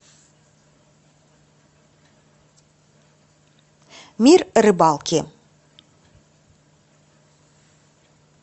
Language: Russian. мир рыбалки